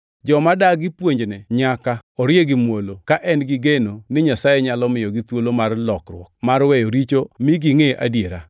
Joma dagi puonjne nyaka orie gi muolo, ka en gi geno ni Nyasaye nyalo miyogi thuolo mar lokruok mar weyo richo mi gingʼe adiera,